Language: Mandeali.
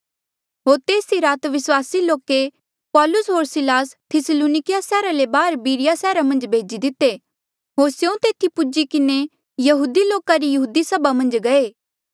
होर तेस ई रात विस्वासी लोके पौलुस होर सिलास थिस्सलुनकिया सैहरा ले बाहर बिरिया सैहरा मन्झ भेजी दिते होर स्यों तेथी पुज्ही किन्हें यहूदी लोका री यहूदी सभा मन्झ गये